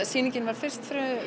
sýningin var fyrst